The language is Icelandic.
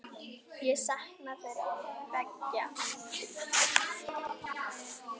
Ég sakna þeirra beggja.